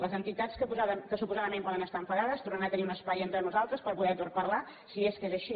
les enti·tats que suposadament poden estar enfadades tornaran a tenir un espai entre nosaltres per poder parlar si és que és així